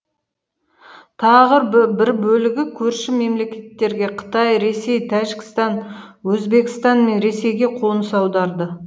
тағы бір бөлігі көрші мемлекеттерге қытай ресей тәжікстан өзбекстан мен ресейге қоныс аударды